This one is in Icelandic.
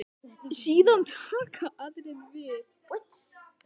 Síðan taka aðrir við.